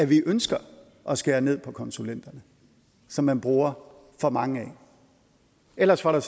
vi ønsker at skære ned på konsulenterne som man bruger for mange af ellers var der